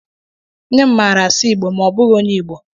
Nne m maara asụ Igbo ma ọ bụghị onye Igbo.